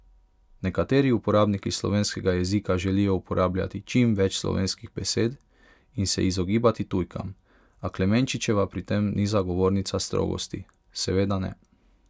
Nekateri uporabniki slovenskega jezika želijo uporabljati čim več slovenskih besed in se izogibati tujkam, a Klemenčičeva pri tem ni zagovornica strogosti: 'Seveda ne.